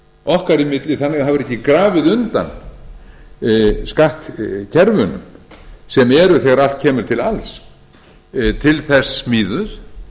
okkar í milli þannig að það verði ekki grafið undan skattkerfunum sem eru þegar allt kemur til alls til þess smíðuð